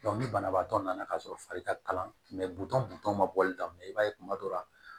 ni banabaatɔ nana ka sɔrɔ fari ka kalan butɔn butɔn ma bɔli daminɛ i b'a ye kuma dɔ la